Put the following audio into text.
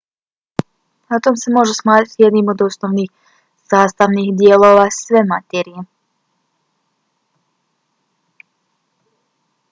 atom se može smatrati jednim od osnovnih sastavnih dijelova sve materije